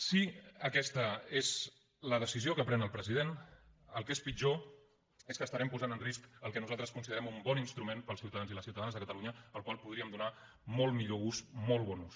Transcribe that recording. si aquesta és la decisió que pren el president el que és pitjor és que estarem posant en risc el que nosaltres considerem un bon instrument per als ciutadans i les ciutadanes de catalunya al qual podríem donar molt millor ús molt bon ús